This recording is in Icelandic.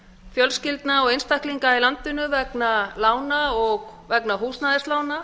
fjölskyldna og einstaklinga í landinu vegna lána og vegna húsnæðislána